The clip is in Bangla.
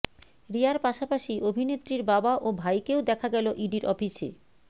রিয়ার পাশাপাশি অভিনেত্রীর বাবা ও ভাইকেও দেখা গেল ইডির অফিসে